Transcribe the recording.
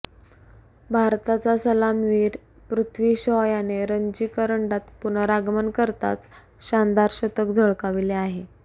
भारताचा सलामीवीर पृथ्वी शॉ याने रणजी करंडकात पुनरागमन करताच शानदार शतक झळकाविले आहे